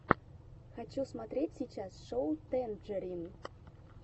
хочу смотреть сейчас шоу тэнджерин